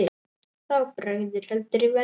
Þá bregður heldur í verra.